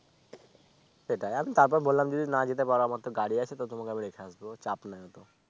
সেটাই আমি তারপর বললাম যদি না যেতে পারো আমার তো গাড়ি আছে তো তোমাকে আমি রেখে আসবো চাপ নাই অতো